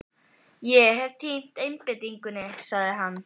Ég hef týnt einbeitingunni, sagði hann.